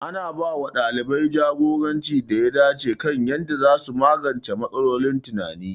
Ana ba wa ɗalibai jagoranci da ya dace kan yadda za su magance matsalolin tunani.